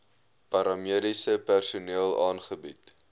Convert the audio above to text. paramediese personeel aangebied